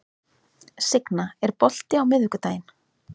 Signa, er bolti á miðvikudaginn?